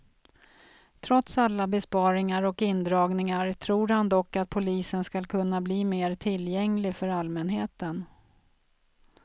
Trots alla besparingar och indragningar tror han dock att polisen skall kunna bli mer tillgänglig för allmänheten.